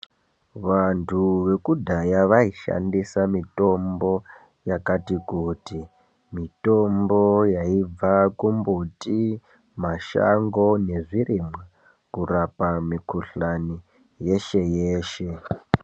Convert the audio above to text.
Vandu vekudhaya vaishandisa mitombo yakati kuti mitombo yaibva kumbuti mashango nezvirimwa kurapa mikhuhlani yeshe yeshe.